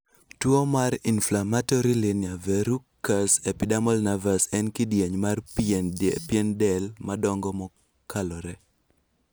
Tuo mar Inflammatory linear verrucous epidermal nevus en kidieny mar pien del madongo mokalore